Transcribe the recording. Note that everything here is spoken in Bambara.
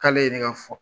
K'ale ye ne ka fɔ